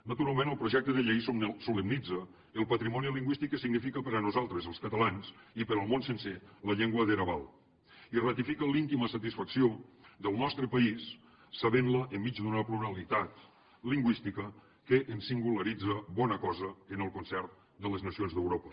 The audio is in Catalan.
naturalment el projecte de llei solemnitza el patrimoni lingüístic que significa per a nosaltres els catalans i per al món sencer la llengua dera val i ratifica l’íntima satisfacció del nostre país sabent la enmig d’una pluralitat lingüística que ens singularitza bona cosa en el concert de les nacions d’europa